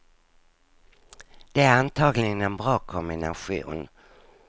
Det är antagligen en bra kombination.